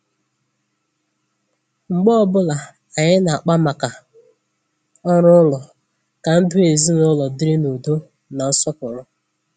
mgbe ọbụla anyị na-akpa maka orù ụlọ ka ndụ ezinụlọ dịrị n’ùdọ̀ na nsọpụrụ.